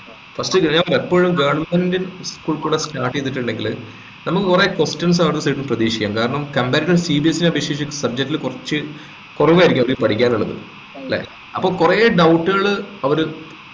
first ഞാൻ എപ്പോഴും goverment കുട്ടികളെ start ചെയ്തിട്ടുണ്ടെങ്കിൽ നമുക്ക് കുറെ questions പ്രതീക്ഷിക്കാം കാരണം comparisonCBSE അപേക്ഷിച്ച് subject ല് കുറച്ച് കൊറവായിരിക്കും അവരിക്ക് പഠിക്കാനുള്ളത് അപ്പോൾ കുറെ doubt കള് അവര്